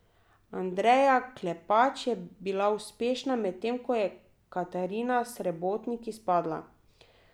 Andreja Klepač je bila uspešna, medtem ko je Katarina Srebotnik izpadla.